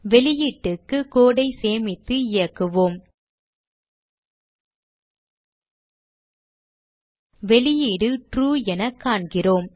வெளியீட்டுக்கு code ஐ சேமித்து இயக்குவோம் வெளியீடு ட்ரூ என காண்கிறோம்